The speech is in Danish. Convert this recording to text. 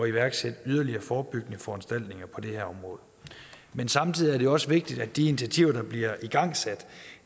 iværksætte yderligere forebyggende foranstaltninger på det her område men samtidig er det også vigtigt at de initiativer der bliver igangsat